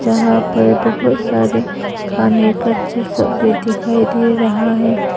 यहां पर बहुत सारे खाने का चीज सब भी दिखाई दे रहा है।